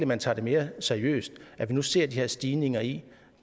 man tager det mere seriøst at vi nu ser stigningen i